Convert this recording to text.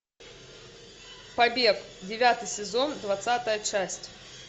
побег девятый сезон двадцатая часть